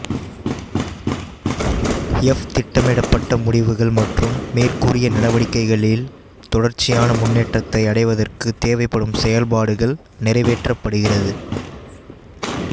F திட்டமிடப்பட்ட முடிவுகள் மற்றும் மேற்கூறிய நடவடிக்கைகளின் தொடர்ச்சியான முன்னேற்றத்தை அடைவதற்குத் தேவைப்படும் செயல்பாடுகள் நிறைவேற்றப்படுகிறது